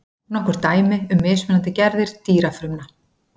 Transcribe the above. nokkur dæmi um mismunandi gerðir dýrafrumna